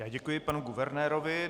Já děkuji panu guvernérovi.